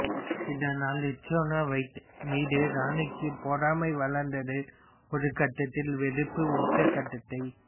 இதனால் Snow White மீது ராணிக்கு பொறாமை வளர்ந்தது ஒரு கட்டத்தில் வெறுப்பு உச்ச கட்டத்தை